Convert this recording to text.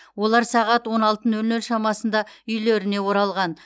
олар сағат он алты нөл нөл шамасында үйлеріне оралған